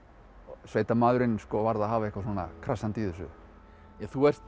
sveitamaðurinn varð að hafa eitthvað svona krassandi í þessu þú ert